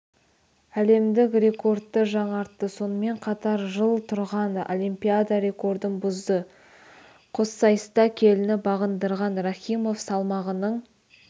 әлемдік рекордты жаңартты сонымен қатар жыл тұрған олимпиада рекордын бұзды қоссайыста келіні бағындырған рахимов салмағының